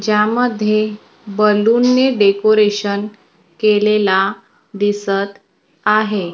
ज्यामध्ये बलून ने डेकोरेशन केलेला दिसत आहे.